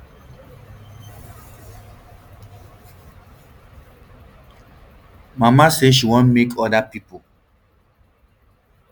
mama say she want make oda pipo